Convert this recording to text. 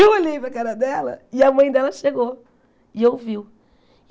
Eu olhei para a cara dela e a mãe dela chegou e ouviu.